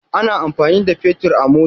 Ana amfani da fetir a mota.